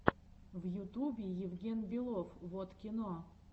в ютубе евген белов воткино